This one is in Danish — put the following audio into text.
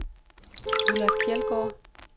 Ulla Kjeldgaard